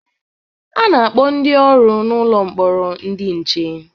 A na-akpọ ndị ọrụ nọ n'ụlọ mkpọrọ ndị nche